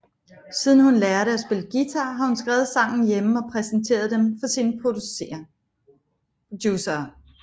Siden hun lærte at spille guitar har hun skrevet sangen hjemme og præsenteret dem for sine producerer